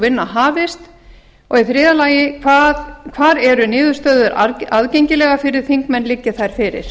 vinna hafist þriðja hvar eru niðurstöður aðgengilegar fyrir þingmenn liggi þær fyrir